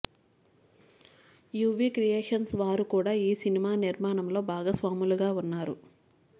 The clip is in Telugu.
యూవీ క్రియేషన్స్ వారు కూడా ఈ సినిమా నిర్మాణంలో భాగస్వాములుగా వున్నారు